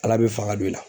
Ala bɛ fanga don i la